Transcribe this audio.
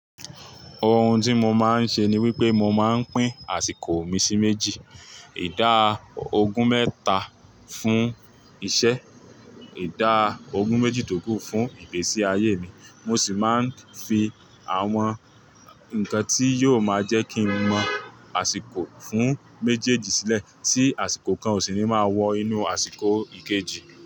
Ohun tí mo máa ń ṣe ni wípé mo máa ń pín àsìkò mi sí méjì. Ìdá ogún mẹ́ta fún iṣẹ́, ìdá ogún méjì tó kù fún ìgbésí ayé mi. Mo sì máa ń fi àwọn nǹkan tí yóò máa jẹ́ kí ń mọ̀ àsìkò fún méjèèjì sílẹ̀ tí àsìkò kan òṣìní máa wọ inú àsìkò ìkejì.